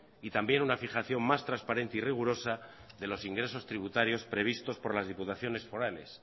y también una fijaciónmás transparente y rigurosa de los ingresos tributarios previstos por las diputaciones forales